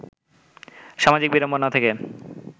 সামাজিক বিড়ম্বনা থেকে